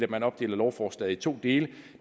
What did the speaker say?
man opdele lovforslaget i to dele